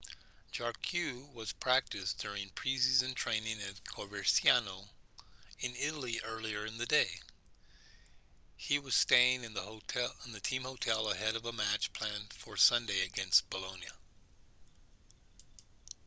jarque was practicing during pre-season training at coverciano in italy earlier in the day he was staying in the team hotel ahead of a match planned for sunday against bolonia